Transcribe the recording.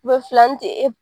filannin tɛ e